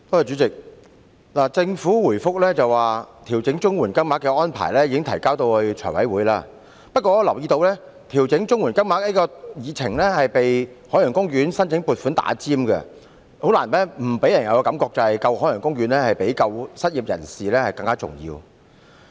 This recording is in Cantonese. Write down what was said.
主席，政府答覆時表示，調整綜援金額的安排已提交財務委員會，但我留意到，調整綜援金額的議程項目已被香港海洋公園申請撥款的項目插隊，讓人覺得拯救香港海洋公園較拯救失業人士更重要。